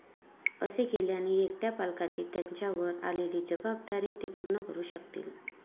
असे केल्याने एकट्या पालकांची त्यांच्यावर आलेली जबाबदारी ते पूर्ण करू शकतील.